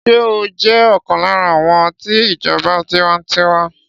Ṣé ó jẹ́ ọ̀kan lára àwọn ti ìjọba tiwańtiwa?